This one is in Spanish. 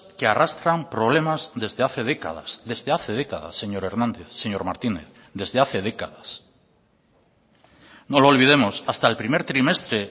que arrastran problemas desde hace décadas desde hace décadas señor hernández señor martínez desde hace décadas no lo olvidemos hasta el primer trimestre